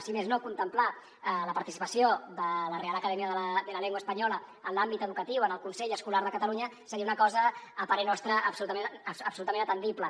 si més no contemplar la participació de la real academia de la lengua española en l’àmbit educatiu en el consell escolar de catalunya seria una cosa a parer nostre absolutament atendible